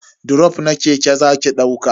Drof na keke zaki dauka?